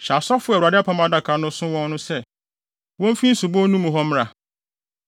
“Hyɛ asɔfo a Awurade apam adaka no so wɔn no sɛ, womfi nsubon no mu hɔ mmra.”